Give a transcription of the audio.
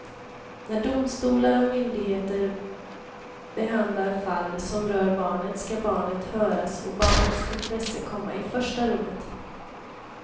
När domstolar och myndigheter behandlar fall som rör barnet ska barnet höras och barnets intresse komma i första rummet.